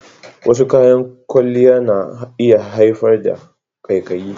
Wasu kayan kwalliya na iya haifar da ƙaiƙayi.